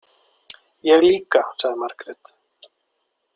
Ég líka, sagði Margrét.